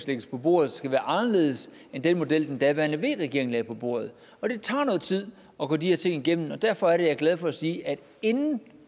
lægges på bordet skal være anderledes end den model den daværende v regering lagde på bordet og det tager noget tid at gå de her ting igennem det er derfor jeg er glad for at sige at vi inden